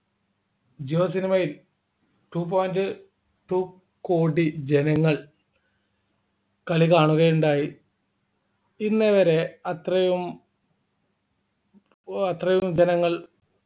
ജിയോ സിനിമയിൽ two point two കോടി ജനങ്ങൾ കളി കാണുകയുണ്ടായി ഇന്നേവരെ അത്രയും ഓ അത്രയും ജനങ്ങൾ